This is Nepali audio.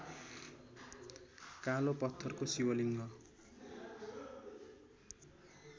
कालो पत्थरको शिवलिङ्ग